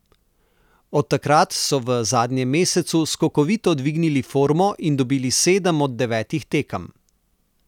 Od takrat so v zadnjem mesecu skokovito dvignili formo in dobili sedem od devetih tekem.